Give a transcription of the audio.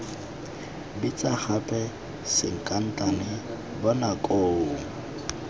bitsa gape sankatane bona koo